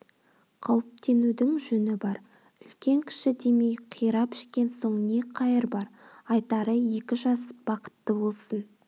қауіптенуінің жөні бар үлкен-кіші демей қирап ішкен соң не қайыр бар айтары екі жас бақытты болсын